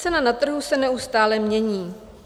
Cena na trhu se neustále mění.